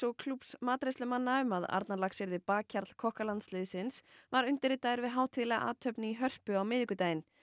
og klúbbs matreiðslumanna um að Arnarlax yrði bakhjarl var undirritaður við hátíðlega athöfn í Hörpu á miðvikudaginn